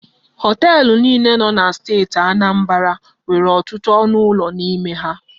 Họọtelụ niile nọ na steeti Anambra nwere ọtụtụ ọnụ ụlọ n'ime ha.